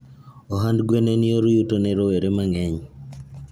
Ohand gwen en yor yuto ne rowere mangeny